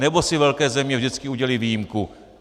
Nebo si velké země vždycky udělí výjimku?